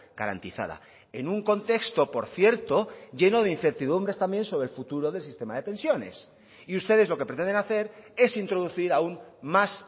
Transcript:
garantizada en un contexto por cierto lleno de incertidumbres también sobre el futuro del sistema de pensiones y ustedes lo que pretenden hacer es introducir aún más